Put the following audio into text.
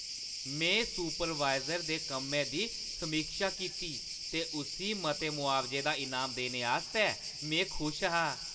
में सुपरवाइज़र दे कम्मै दी समीक्षा कीती ते उस्सी मते मुआवजे दा इनाम देने आस्तै में खुश हा।